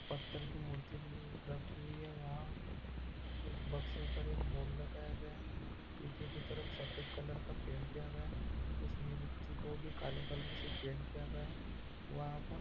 पत्थर की मूर्ति रखी हुई है वहा उस बक्से पर एक बोर्ड लगाया गया है पीछे की तरफ सफेद कलर का पैंट किया गया है उस मूर्ति को भी काले कलर से पैंट किया गया है वहां पर।